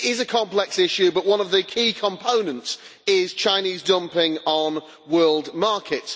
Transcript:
It is a complex issue, but one of the key components is Chinese dumping on the world market.